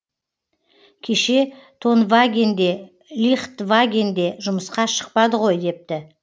кеше тонваген де лихтваген де жұмысқа шықпады ғой депті